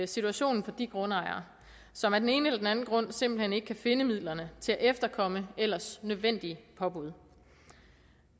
situationen for de grundejere som af den ene eller den anden grund simpelt hen ikke kan finde midlerne til at efterkomme ellers nødvendige påbud